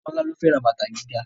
Tọ́lá ló fẹ́ ra bàtà gíga